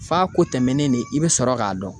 F'a ko tɛmɛnen de i bi sɔrɔ k'a dɔn.